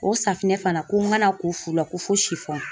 O fana ko n ka na ko fu la ko fo